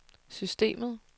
systemet